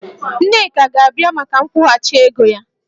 Nneka ga-abịa maka nkwụghachi ego ya